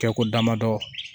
Kɛ ko damadɔ